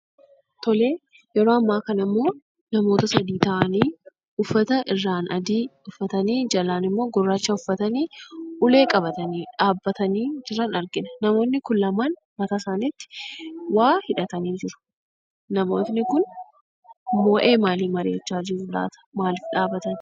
Tolee, yeroo ammaa kanammoo namoota sadi ta'anii uffata irraan adii uffatanii jalaanimmoo gurraacha uffatanii ulee qabatanii dhaabbatanii jiran argina namoonni kun lamaan mataa isaaniitti waa hidhatanii jiru. Namoonni kun waayee maalii mari'achaa jiru laata, maaliif dhaabbatan?